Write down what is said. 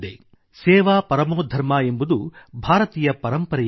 ಸೇವಾ ಪರಮೋಧರ್ಮ ಎಂಬುದು ಭಾರತೀಯ ಪರಂಪರೆಯಾಗಿದೆ